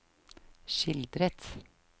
skildret